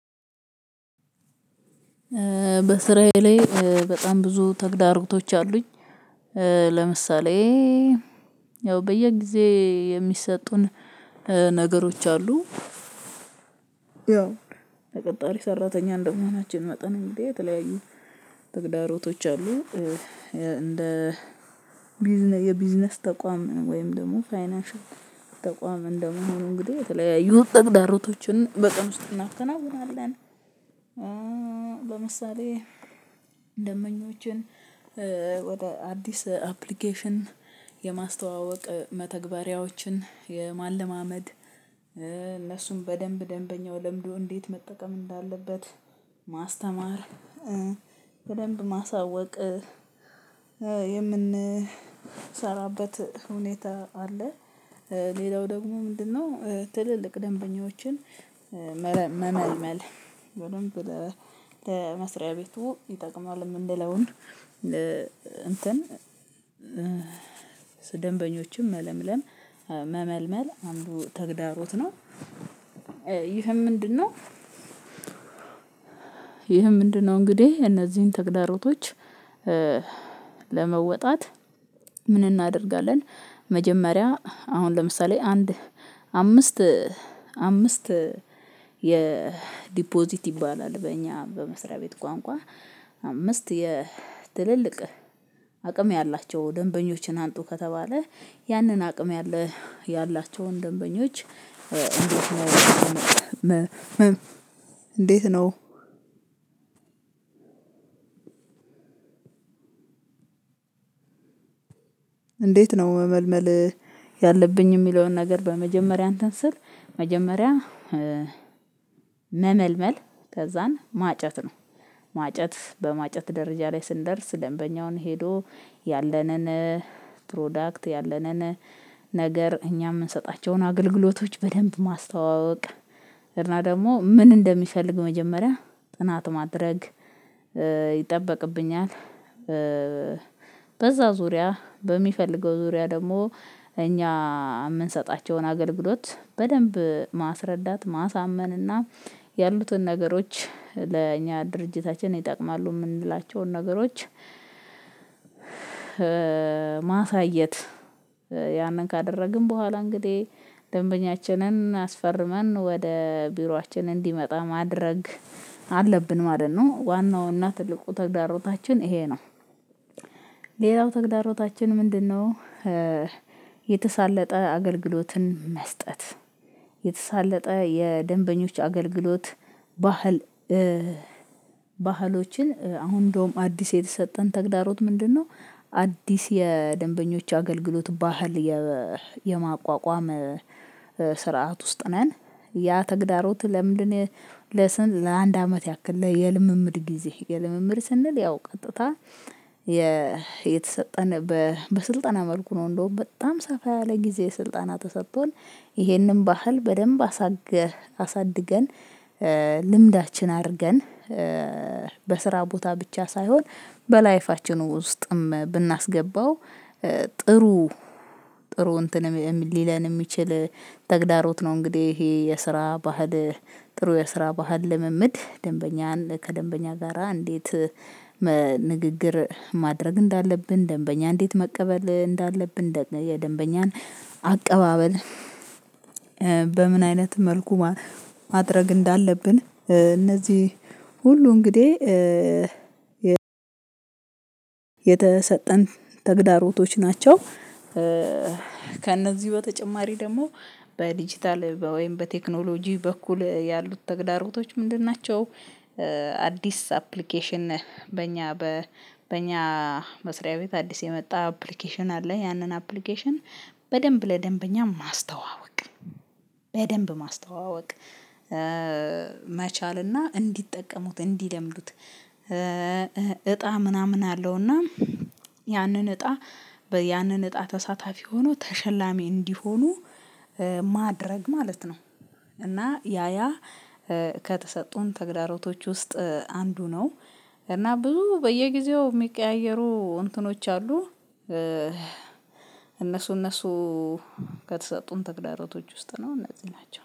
በስራዬ ላይ በጣም ብዙ ተግዳሮቶች አሉኝ። ለምሳሌ ያው በየጊዜ የሚሰጡን ነገሮች አሉ። ያው ተቀጣሪ ሰራተኛ እንደመሆናችን መጠን እንግዲህ የተለያዩ ተግዳሮቶች አሉ። እንደ የቢዝነስ ተቋም ወይም ደግሞ ፋይናንሻል ተቋም እንደመሆኑ እንግዲህ የተለያዩ ተግዳሮቶችን በቀን ውስጥ እናከናውናለን። ለምሳሌ ደምበኞችን ወደ አዲስ አፕሊኬሽን የማስተዋወቅ መተግበሪያዎችን የማለማመድ እነሱን በደንብ ደንበኛው ለምዶ እንዴት መጠቀም እንዳለበት ማስተማር በደንብ ማሳወቅ የምንሰራበት ሁኔታ አለ። ሌላው ደግሞ ምንድነው? ትልልቅ ደንበኞችን መመልመል በደንብ ለመስሪያ ቤቱ ይጠቅመዋል የምንለውን እንትን ደንበኞችን መለምለም መመልመል አንዱ ተግዳሮት ነው። ይህም ምንድነው? ይህም ምንድነው? እንግዲህ እነዚህን ተግዳሮቶች ለመወጣት ምን እናደርጋለን? መጀመሪያ አሁን ለምሳሌ አንድ አምስት አምስት የዲፖዚት ይባላል በእኛ በመስሪያ ቤት ቋንቋ አምስት የትልልቅ አቅም ያላቸው ደንበኞችን አምጡ ከተባለ ያንን አቅም ያላቸውን ደንበኞች እንዴት ነው? እንዴት ነው? መመልመል ያለብኝ የሚለውን ነገር በመጀመሪያ እንትን ስል መጀመሪያ መመልመል ከዛን ማጨት ነው። ማጨት በማጨት ደረጃ ላይ ስንደርስ ደንበኛውን ሄዶ ያለንን ፕሮዳክት ያለንን ነገር እኛ የምንሰጣቸውን አገልግሎቶች በደንብ ማስተዋወቅ እና ደግሞ ምን እንደሚፈልግ መጀመሪያ ጥናት ማድረግ ይጠበቅብኛል። በዛ ዙሪያ በሚፈልገው ዙሪያ ደግሞ እኛ የምንሰጣቸውን አገልግሎት በደንብ ማስረዳት ማሳመን እና ያሉትን ነገሮች ለእኛ ድርጅታችን ይጠቅማሉ የምንላቸውን ነገሮች ማሳየት ያንን ካደረግን በኋላ እንግዲህ ደንበኛችንን አስፈርመን ወደ ቢሮአችን እንዲመጣ ማድረግ አለብን ማለት ነው። ዋናውና ትልቁ ተግዳሮታችን ይሄ ነው። ሌላው ተግዳሮታችን ምንድነው? የተሳለጠ አገልግሎትን መስጠት የተሳለጠ የደንበኞች አገልግሎት ባህል ባህሎችን አሁን እንደውም አዲስ የተሰጠን ተግዳሮት ምንድነው? አዲስ የደንበኞች አገልግሎት ባህል የማቋቋም ስርዓት ውስጥ ነን። ያ ተግዳሮት ለምንድነው? ለስንት ለአንድ አመት ያክል የልምምድ ጊዜ የልምምድ ስንል ያው ቀጥታ የተሰጠን በስልጠና መልኩ ነው። እንደውም በጣም ሰፋ ያለ ጊዜ ስልጠና ተሰጥቶን ይሄንን ባህል በደንብ አሳድገን ልምዳችን አድርገን በስራ ቦታ ብቻ ሳይሆን በላይፋችንም ውስጥም ብናስገባው ጥሩ ጥሩ እንትንም ሊለን የሚችል ተግዳሮት ነው። እንግዲህ ይሄ የስራ ባህል ጥሩ የስራ ባህል ልምምድ ደንበኛን ከደንበኛ ጋራ እንዴት ንግግር ማድረግ እንዳለብን ደንበኛ እንዴት መቀበል እንዳለብን የደንበኛን አቀባበል በምን አይነት መልኩ ማድረግ እንዳለብን እነዚህ ሁሉ እንግዲህ የተሰጠን ተግዳሮቶች ናቸው። ከእነዚህ በተጨማሪ ደግሞ በዲጂታል ወይም በቴክኖሎጂ በኩል ያሉት ተግዳሮቶች ምንድን ናቸው? አዲስ አፕሊኬሽን በእኛ በእኛ መስሪያ ቤት አዲስ የመጣ አፕሊኬሽን አለ። ያንን አፕሊኬሽን በደንብ ለደንበኛ ማስተዋወቅ በደንብ ማስተዋወቅ መቻል እና እንዲጠቀሙት እንዲለምዱት እጣ ምናምን አለው እና ያንን እጣ ያንን እጣ ተሳታፊ ሆኖ ተሸላሚ እንዲሆኑ ማድረግ ማለት ነው። እና ያያ ከተሰጡን ተግዳሮቶች ውስጥ አንዱ ነው። እና ብዙ በየጊዜው የሚቀያየሩ እንትኖች አሉ። እነሱ እነሱ ከተሰጡን ተግዳሮቶች ውስጥ ነው እነዚህ ናቸው